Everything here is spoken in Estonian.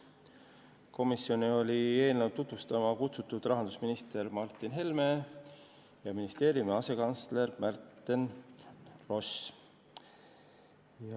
Komisjoni oli eelnõu tutvustama kutsutud rahandusminister Martin Helme ja ministeeriumi asekantsler Märten Ross.